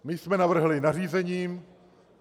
My jsme navrhli nařízením.